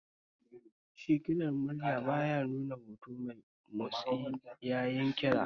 Shi kirar murya ba ya nuna hoto mai motsi yayin kira